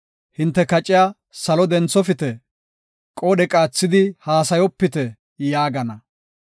‘Hinte kaciya salo denthofite; qoodhe qaathidi haasayopite’ ” yaagana.